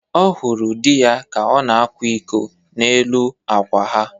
Ọ hụrụ di ya ka ọ na-akwa iko n'elu akwa ha